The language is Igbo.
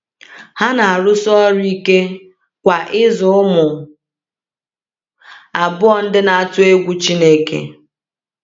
Ha na-arụsi ọrụ ike kwa ịzụ ụmụ abụọ ndị na-atụ egwu Chineke.